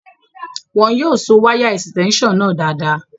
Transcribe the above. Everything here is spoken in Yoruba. Wọn yóò so wáyà ẹ̀sítẹ́únsàn náà dáadáa